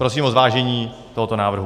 Prosím o zvážení tohoto návrhu.